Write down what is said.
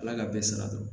Ala ka bɛɛ sara